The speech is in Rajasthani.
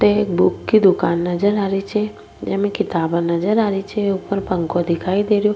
ते एक बुक की दुकान नजर आ री छे जेमे किताबा नजर आ री छे ऊपर पंखो दिखाई दे रो।